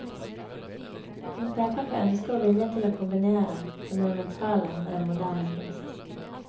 Hun pekere på ønsket og viljen til å kombinere det monumentale med den moderne kunst.